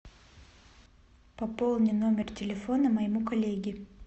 пополни номер телефона моему коллеге